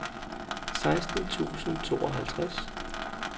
seksten tusind og tooghalvtreds